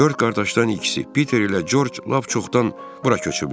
Dörd qardaşdan ikisi, Piter ilə Corc lap çoxdan bura köçüblər.